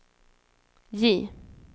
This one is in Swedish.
J